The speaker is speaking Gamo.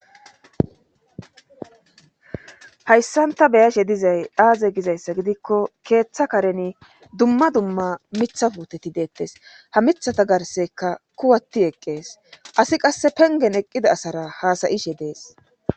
Hayssanta beyashe dizay aaze gizayssa gidikko keeththa kareni dumma dumma mitha puteti deettes ha mithata garseka kuwatti eqqees asi qasse pengen eqqida asara haasayishe dees.